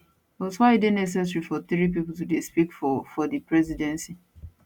but why e dey necessary for three pipo to dey speak for for di presidency